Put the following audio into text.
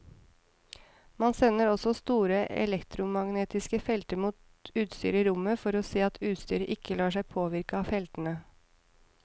Man sender også store elektromagnetiske felter mot utstyret i rommet for å se at utstyret ikke lar seg påvirke av feltene.